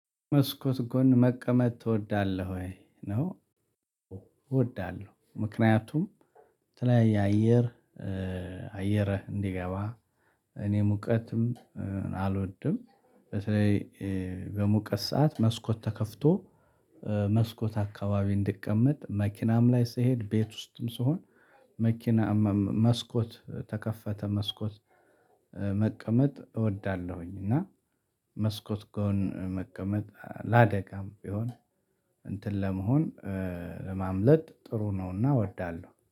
"መስኮት ጎን መቀመጥ ትወዳለህ ወይ?" ነው እወዳለሁ። ምክንያቱም የተለያየ አየር አየር እንዲገባ፣ እኔ ሙቀትም አልወድም። በተለይ በሙቀት ሰዓት መስኮት ተከፍቶ መስኮት አካባቢ እንድቀመጥ መኪናም ላይ ስሄድ፣ ቤት ውስጥም ስሆን መኪና መስኮት ተከፈተ መስኮት መቀመጥ እወዳለሁኝ እና መስኮት ጎን መቀመጥ ለአደጋም ቢሆን እንትን ለመሆን ለማምለጥ ጥሩ ነውና እወዳለሁ።